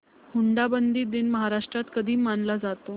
हुंडाबंदी दिन महाराष्ट्रात कधी मानला जातो